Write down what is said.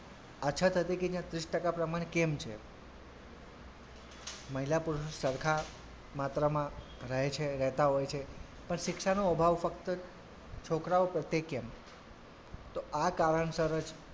અછત હતી કે ત્યાં ત્રીસ ટકા પ્રમાણ કેમ છે મહિલા પુરુષ સરખા માત્રામાં રહે છે રહેતા હોય છે પણ શિક્ષાનો અભાવ માત્ર છોકરાઓ પ્રત્યે જ કેમ? તો આ કારણસર જ,